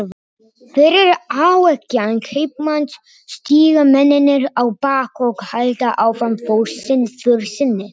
Fyrir áeggjan kaupmanns stíga mennirnir á bak og halda áfram för sinni.